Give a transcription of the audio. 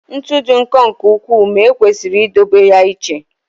ntu dị nkọ nke ukwuu ma ekwesịrị idobe ya iche